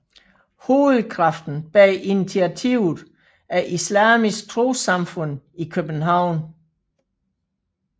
Hovedkraften bag initiativet er Islamisk Trossamfund i København